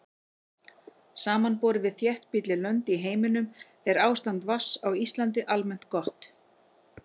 Samanborið við þéttbýlli lönd í heiminum er ástand vatns á Íslandi almennt gott.